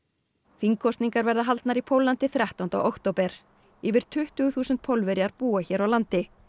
þingkosningar verða haldnar í Póllandi þrettándi október yfir tuttugu þúsund Pólverjar búa hér á landi